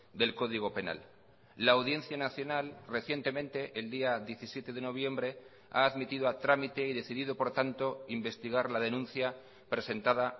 del código penal la audiencia nacional recientemente el día diecisiete de noviembre ha admitido a trámite y decidido por tanto investigar la denuncia presentada